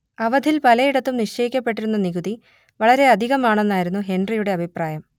അവധിൽ പലയിടത്തും നിശ്ചയിക്കപ്പെട്ടിരുന്ന നികുതി വളരെ അധികമാണെന്നായിരുന്നു ഹെൻറിയുടെ അഭിപ്രായം